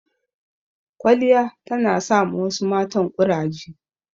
Kwaliya ta na sa ma wasu matan ƙuraje